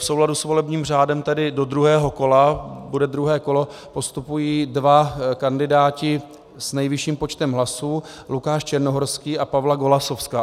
V souladu s volebním řádem tedy do druhého kola, bude druhé kolo, postupují dva kandidáti s nejvyšším počtem hlasů, Lukáš Černohorský a Pavla Golasowská.